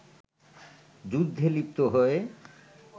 যুদ্ধে লিপ্ত হয়ে